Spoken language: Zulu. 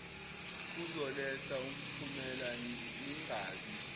kuzoletha umphumela ningabi